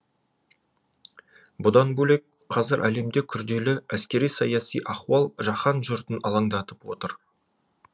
бұдан бөлек қазір әлемде күрделі әскери саяси ахуал жаһан жұртын алаңдатып отыр